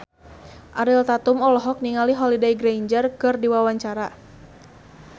Ariel Tatum olohok ningali Holliday Grainger keur diwawancara